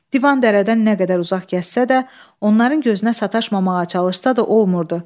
Divan dərdən nə qədər uzaq gəzsə də, onların gözünə sataşmamağa çalışsa da olmurdu.